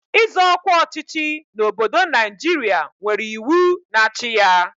Ịzọ ọkwa ọchịchị n'obodo Naijiria nwere iwu na-achị ya.